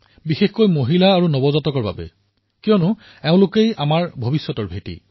বিশেষকৈ মহিলা আৰু নৱজাত শিশুসকলৰ বাবে কাৰণ এয়াই আমাৰ ভেঁটি